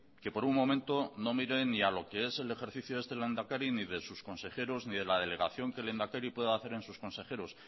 que por un momento no mire ni a lo que es el ejercicio de este lehendakari ni de sus consejeros ni de la delegación que el lehendakari pueda hacer en sus consejeros